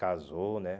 Casou, né?